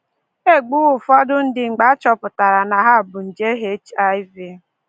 E gbuwo ụfọdụ ndị mgbe a chọpụtara na ha bu nje HIV